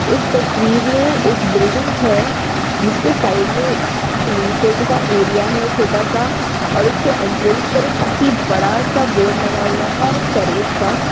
इस तस्वीर में एक बिल्डिंग है जिसके साइड में टिन शेड का एरिया है छोटा सा और उसके एन्ट्रेन्स पर एक काफी बड़ा सा बोर्ड लगा हुआ है सर्विस का।